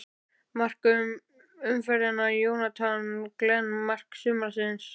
Mark umferðarinnar: Jonathan Glenn Mark sumarsins?